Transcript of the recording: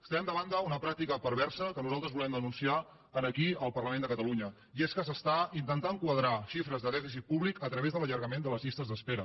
estem davant d’una pràctica perversa que nosaltres volem denunciar aquí al parlament de catalunya i és que s’està intentant quadrar xifres de dèficit públic a través de l’allargament de les llistes d’espera